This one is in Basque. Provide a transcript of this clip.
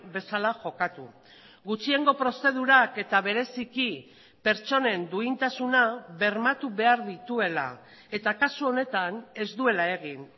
bezala jokatu gutxiengo prozedurak eta bereziki pertsonen duintasuna bermatu behar dituela eta kasu honetan ez duela egin